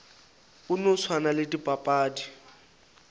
go no swana le dipapadi